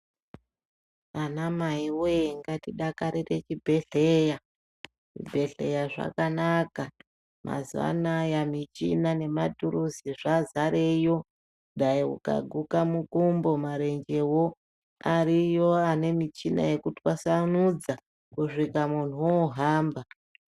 Anamai woye ngatidakare kuchibhehleya xvibhehleya zvakanaka mazuva anaya matuluzi zvadzarayo dai ukaguka mukumbo marenje ariyo anemichini yekutwassnudza kusvika muntu ohamba .